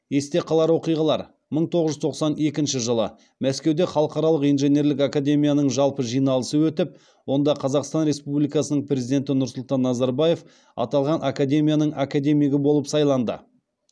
есте қалар оқиғалар мың тоғыз жүз тоқсан екінші жылы мәскеуде халықаралық инженерлік академияның жалпы жиналысы өтіп онда қазақстан республикасының президенті нұрсұлтан назарбаев аталған академияның академигі болып сайланды